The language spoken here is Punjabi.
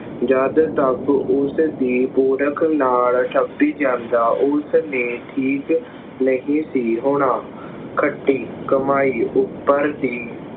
ਜਦ ਤੱਕ ਉਸਦੀ ਨਾਲ ਜਾਂਦਾ ਉਸਨੇ ਠੀਕ ਨਹੀਂ ਸੀ ਹੋਣਾ। ਖੱਟੀ ਕਮਾਈ ਉੱਪਰ ਦੀ